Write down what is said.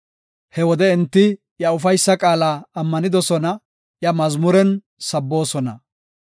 He wode enti iya ufaysa qaala ammanidosona; iya mazmuren sabboosona.